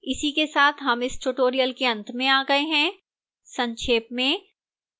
इसी के साथ हम इस tutorial के अंत में आ गए हैं संक्षेप में